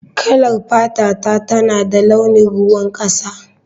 Kalar fatata tana da launin ruwan kasa